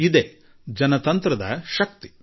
ಇದೇ ಪ್ರಜಾಪ್ರಭುತ್ವದ ಶಕ್ತಿ